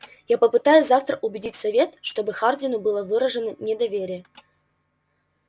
я попытаюсь завтра убедить совет чтобы хардину было выражено недоверие